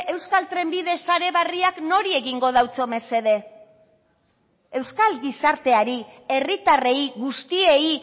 euskal trenbide sare berriak nori egingo deutso mesede euskal gizarteari herritarrei guztiei